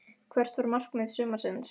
Hvert var markmið sumarsins?